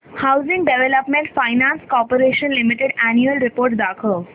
housing development finance corporation limited annual report दाखव